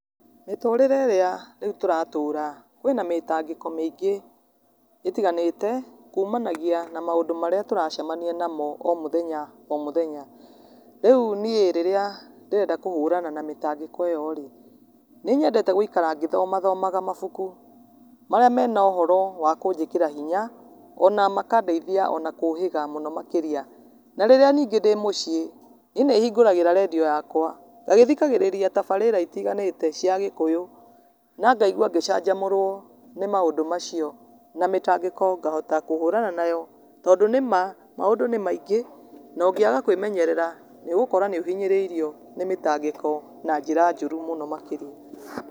Mĩtũrĩre ĩrĩa rĩũ tũratũra kwĩna mĩtangĩko mĩingĩ ĩtiganĩte kumanagia na maũndũ marĩatũracemania namo o mũthenya o mũthenya rĩũ niĩ rĩrĩa ndĩrenda kũũrana na mĩtangĩko ĩyo rĩ, nĩ nyendete gũĩkara ngĩthoma thomaga mabũkũ marĩa mena ũhoro wa kũnjĩkĩra hinya ona makandeĩthĩa ona kũhĩga ona mũno makĩria na rĩrĩa ningĩ ndĩ mũciĩ nĩ ĩ nĩ hingũragĩra rediu ya kwa nagĩthikagĩrĩria tabarĩra itiganĩte cia gĩkũyũ na ngaigwa ngĩcanhamũrwo nĩ maũndũ macio na mĩtangĩko ngahota kũhũrana nayo tondũ nĩ ma maũndũ nĩ maingĩ na ũngĩaga kwĩmenyerera nĩ ũgũkora nĩ ũhinyĩrĩirio nĩ mĩtangĩko na njĩra njũrũ mũno makĩria .